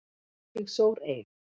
Ég sór eið.